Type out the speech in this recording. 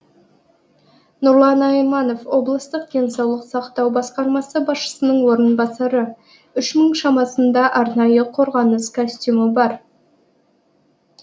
нұрлан айманов облыстық денсаулық сақтау басқармасы басшысының орынбасары үш мың шамасында арнайы қорғаныс костюмі бар